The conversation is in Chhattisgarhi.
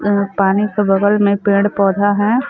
वह पानी के बगल में पेड़-पौधा है।